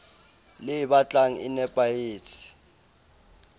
le e batlang e nepahetse